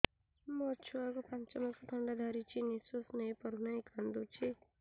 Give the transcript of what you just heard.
ମୋ ଛୁଆକୁ ପାଞ୍ଚ ମାସ ଥଣ୍ଡା ଧରିଛି ନିଶ୍ୱାସ ନେଇ ପାରୁ ନାହିଁ କାଂଦୁଛି